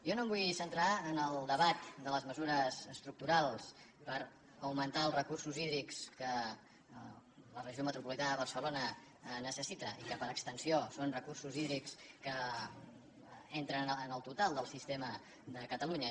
jo no em vull centrar en el debat de les mesures estructurals per augmentar els recursos hídrics que la regió me tropolitana de barcelona necessita i que per extensió són recursos hídrics que entren en el total del sistema de catalunya